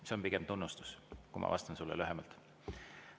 See on pigem tunnustus, kui ma vastan sulle lühemalt.